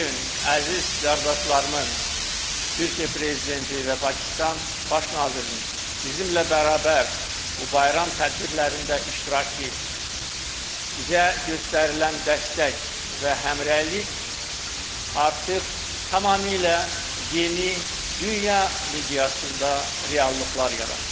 Bu gün əziz qardaşlarımın Türkiyə prezidenti və Pakistan baş nazirinin bizimlə bərabər bu bayram tədbirlərində iştirakı bizə göstərilən dəstək və həmrəylik artıq tamamilə yeni dünya miqyasında reallıqlar yaradır.